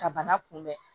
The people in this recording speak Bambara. Ka bana kunbɛn